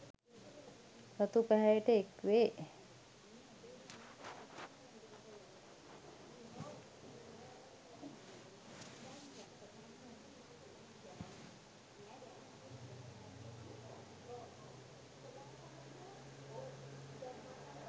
රතු පැහැයට එක්වේ